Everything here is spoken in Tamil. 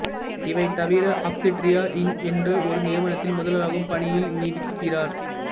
இவை தவிர ஆக்சுடிரியா இங்க் என்ற ஒரு நிறுவனத்தில் முதல்வராகவும் பணியில் நீடிக்கிறார்